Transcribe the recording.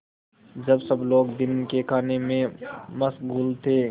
जब सब लोग दिन के खाने में मशगूल थे